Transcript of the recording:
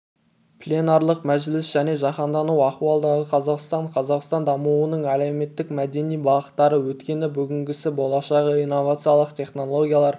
пленарлық мәжіліс және жаһандану ахуалындағы қазақстан қазақстан дамуының әлеуметтік-мәдени бағыттары өткені бүгінгісі болашағы инновациялық технологиялар